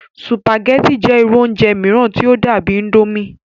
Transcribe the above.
sùpàgẹ́tì jẹ́ irú oúnjẹ mìíràn tí ó dàbíi índómì